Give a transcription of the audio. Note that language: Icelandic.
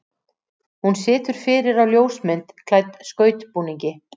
Hún situr fyrir á ljósmynd klædd skautbúningi.